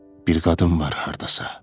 Bir qadın var hardasa.